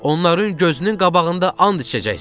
Onların gözünün qabağında and içəcəksiz.